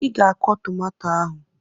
Ị ga akwọ tomato ahụ!